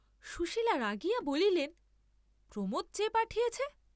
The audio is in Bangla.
সুশীলা রাগিয়া বলিলেন, প্রমোদ চেয়ে পাঠিয়েছে!